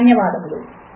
ధన్యవాదములు